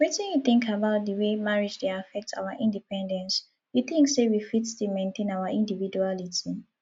wetin you think about di way marriage dey affect our independence you think say we fit still maintain our individuality